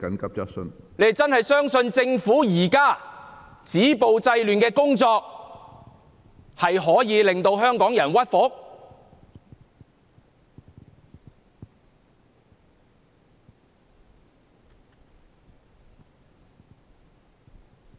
他們真的相信政府現時止暴制亂的工作可以令香港人屈服？